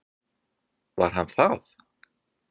Var hann það?